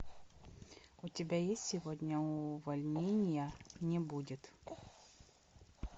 у тебя есть сегодня увольнения не будет